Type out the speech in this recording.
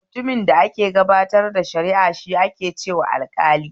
Mutumin da ke gabatar da shara'a shi ake kira alƙali